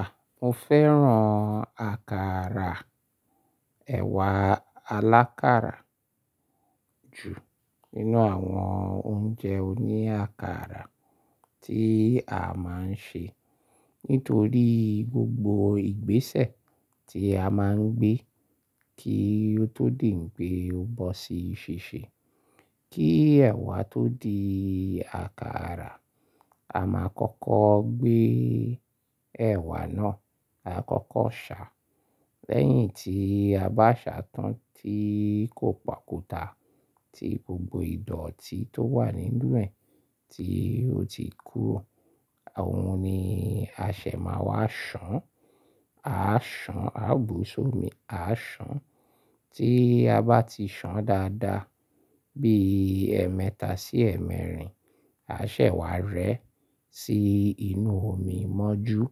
À, mo fẹ́ràn àkàrà ẹ̀wà alákàrà ju nínú àwọn oúnjẹ oní àkàrà tí a máa ń ṣe. Nítorí gbogbo ìgbésẹ̀ tí a máa ń gbé kí o tó di n pé ó bọ́ sí ṣíṣe. Kí ẹ̀wà tó di àkàrà, a máa kọ́kọ́ gbé ẹ̀wà náà, a kọ́kọ́ ṣà. Lẹ́yìn tí a bá ṣà tán tí kò pàkúta, tí gbogbo ìdọ̀tí tó wà nínú rẹ̀ tí ó ti kúrò, òun ni a ṣẹ̀ máa wá ṣàn. A ṣàn, a gbó sómi, a ṣàn. Tí a bá ti ṣàn dáadáa, bí ẹ mẹ́ta sí ẹ mẹ́rin, a ṣẹ̀ wá rẹ́ sí inú omi mọ́jú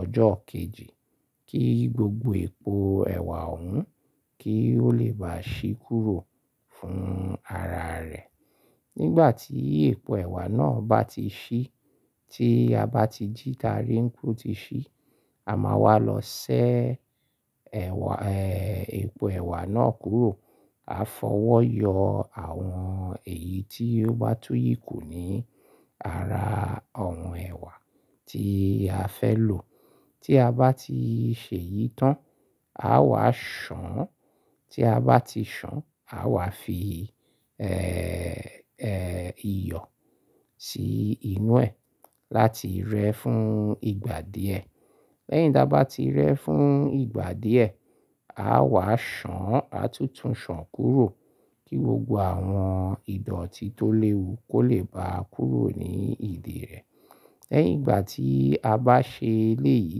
ọjọ́ kejì kí gbogbo epo ẹ̀wà òun kí ó lè bá ṣí kúrò fún ara rẹ̀. Nígbà tí epo ẹ̀wà náà bá ti ṣí, tí a bá ti jíta rí pé ó ti ṣí, a máa wá lọ ṣẹ́ ẹ̀wà, ẹ́, epo ẹ̀wà náà kúrò. A fọwọ́ yọ àwọn èyí tí ó bá túyì kù ní ara òun ẹ̀wà tí a fẹ́ lò. Tí a bá ti ṣe yìí tán, a wá ṣàn. Tí a bá ti ṣàn, a wà fi, ẹ́, ẹ́, iyọ̀ sí inú ẹ láti rẹ́ fún ìgbà díẹ̀. Lẹ́yìn dá bá ti rẹ́ fún ìgbà díẹ̀, a wà ṣàn, a tútù ṣàn kúrò kí gbogbo àwọn ìdọ̀tí tó léwu kó lè bá kúrò ní ìdí rẹ̀. Lẹ́yìn ìgbà tí a bá ṣe léyìí,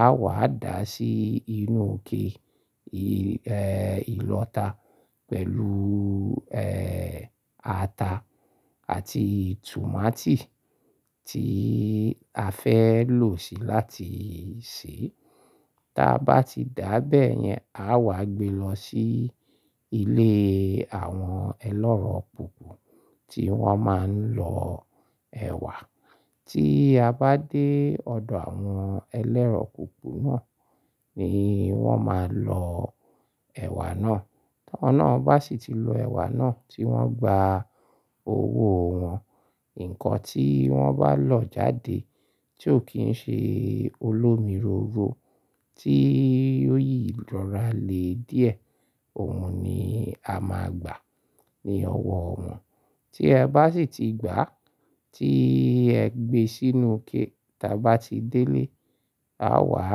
a wà dà á sí inú kè, ẹ́, ìlọta pẹ̀lú, ẹ́, ata àti tùmátì tí a fẹ́ lò ṣì láti sè. Tí a bá ti dà bẹ́ẹ̀ yẹn, a wà gbe lọ sí ilé àwọn ẹlọ́rọ̀kùkù tí wọ́n máa ń lọ ẹ̀wà. Tí a bá dé ọ̀dọ̀ àwọn ẹlẹ́rọ̀kùkù náà ni wọ́n máa lọ ẹ̀wà náà. Wọ́n náà bá sì ti lọ ẹ̀wà náà tí wọ́n gba owó wọn, nǹkan tí wọ́n bá lọ̀ jáde tí ó kì í ṣe olómìróro tí ó yìí lọ́ra lé díẹ̀, òun ni a máa gbà ní ọwọ́ wọn. Tí ẹ bá sì ti gbà, tí ẹ gbé sínú ké. Tí a bá ti dé lé, a wà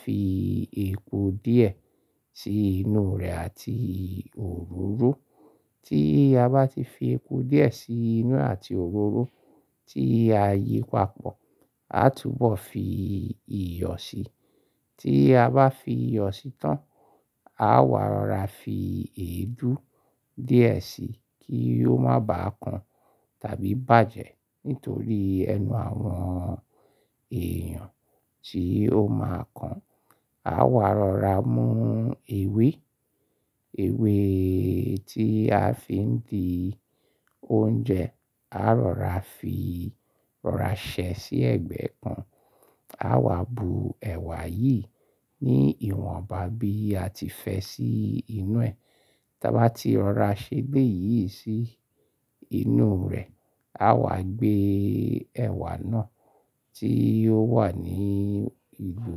fi epo díẹ̀ sí inú rẹ̀ àti òróró. Tí a bá ti fi epo díẹ̀ sí inú àti òróró, tí a yípa pọ̀, a túbọ̀ fi iyọ̀ sí i. Tí a bá fi iyọ̀ sí i tán, a wà rọra fi èédú díẹ̀ sí i kí ó má bàa kan tàbí bàjẹ́ nítorí ẹnu àwọn èèyàn tí ó máa kan. A wà rọra mú ewé, ewé tí a fi ń di oúnjẹ. A rọra fi rọra ṣẹ́ sí ẹ̀gbẹ́ kan. A wà bu ẹ̀wà yìí ní ìwọ̀nba bí a ti fẹ́ sí inú ẹ. Tí a11 bá ti ọ̀ra ṣẹ́ gbé yìí sí inú rẹ̀, a wà gbé ẹ̀wà náà tí yóò wà ní ìlú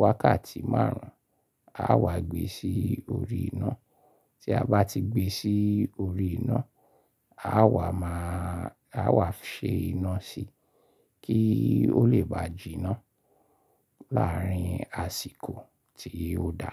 wákàtí márùn-ún, a wà gbé sí orí iná. Tí a bá ti gbé sí orí iná, a wà máa, a wà ṣe iná sí i kí ó lè bá jìná láàárín àsìkò tí yóò dà.